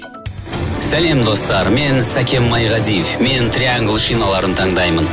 сәлем достар мен сәкен майғазиев мен триангл шиналарын таңдаймын